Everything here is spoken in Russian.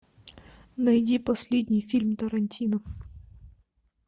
найди последний фильм тарантино